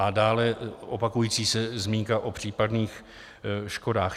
A dále, opakující se zmínka o případných škodách.